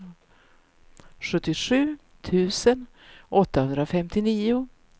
sjuttiosju tusen åttahundrafemtionio